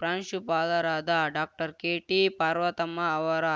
ಪ್ರಾಂಶುಪಾಲರಾದ doctor K T Parvathamma ಅವರ